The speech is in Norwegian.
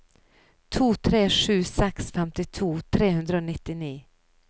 to tre sju seks femtito tre hundre og nittini